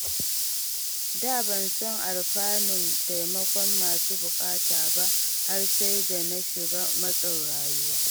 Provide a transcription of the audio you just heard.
Da ban san alfanun taimakon masu buƙata ba har sai da na shiga matsin rayuwa.